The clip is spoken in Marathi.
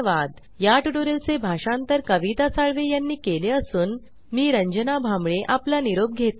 याट्यूटोरियल चे भाषांतर कविता साळवे यानी केले असून मी रंजना भांबळे आपला निरोप घेते